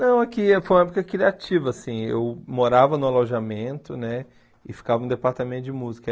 Não, é que foi uma época criativa, assim, eu morava no alojamento, né, e ficava no departamento de música.